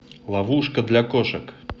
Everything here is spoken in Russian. ловушка для кошек